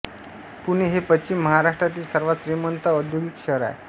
पुणे हे पश्चिम महाराष्ट्रातील सर्वात श्रीमंत व औद्योगिक शहर आहे